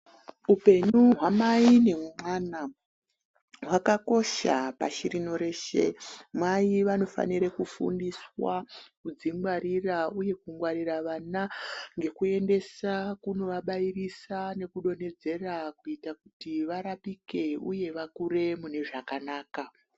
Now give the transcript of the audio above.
Upenyu hwamai nemwana hwakakosha pashi rino reshe. Mai vanofanire kufundiswa kudzingwarira uye kungwarira vana ngekuendesa kunovabairisa nekudonhedzera kuita kuti varapike uye vakure mune zvakanaka.